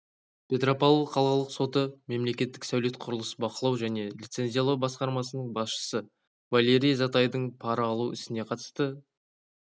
петропавл қалалық соты мемлекеттік сәулет-құрылыс бақылау және лицензиялау басқармасының басшысы валерий затайдың пара алу ісіне қатысты